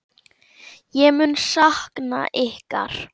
Ég mun sakna ykkar.